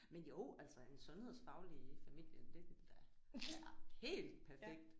Men jo altså en sundhedsfaglig i familien det ville da være helt perfekt